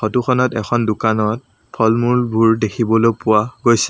Photo খনত এখন দোকানত ফল-মূলবোৰ দেখিবলো পোৱা গৈছে।